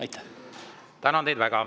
Tänan teid väga!